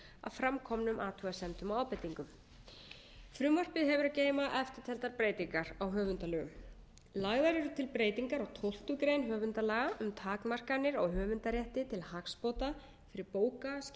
framkomnum athugasemdum og ábendingum frumvarpið hefur að geyma eftirtaldar breytingar á höfundalögum lagðar eru til breytingar á tólftu grein höfundalaga um takmarkanir á höfundarétti til hagsbóta fyrir bóka skjala og listasöfn vegna